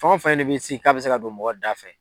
Fɛn o fɛn ye ni min sigi k'a bɛ se ka don mɔgɔ da fɛ.